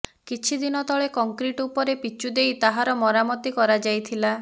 କିଛିଦିନ ତଳେ କଂକ୍ରିଟ ଉପରେ ପିଚୁ ଦେଇ ତାହାର ମରାମତି କରାଯାଇଥିଲା